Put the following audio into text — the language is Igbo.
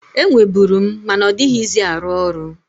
Enweburu m, ma na ọdịghịzị arụ ọrụ.